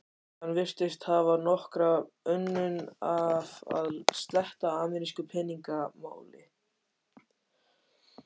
Hann virtist hafa nokkra unun af að sletta amerísku peningamáli.